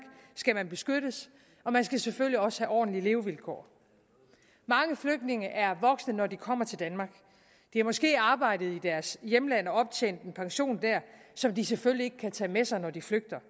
skal man beskyttes og man skal selvfølgelig også have ordentlige levevilkår mange flygtninge er voksne når de kommer til danmark de har måske arbejdet i deres hjemland og optjent en pension der som de selvfølgelig ikke kan tage med sig når de flygter